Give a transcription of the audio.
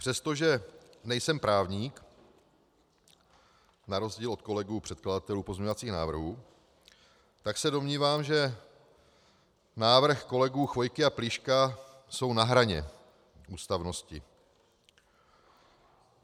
Přestože nejsem právník na rozdíl od kolegů předkladatelů pozměňovacích návrhů, tak se domnívám, že návrhy kolegů Chvojky a Plíška jsou na hraně ústavnosti.